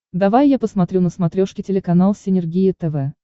давай я посмотрю на смотрешке телеканал синергия тв